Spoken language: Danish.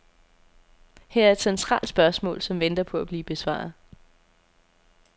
Her er et centralt spørgsmål, som venter på at blive besvaret.